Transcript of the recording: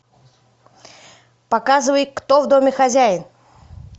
показывай кто в доме хозяин